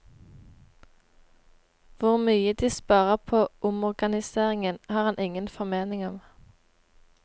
Hvor mye de sparer på omorganiseringen, har han ingen formening om.